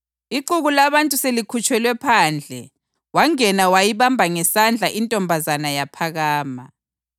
Ixuku labantu selikhutshelwe phandle, wangena wayibamba ngesandla intombazana yaphakama.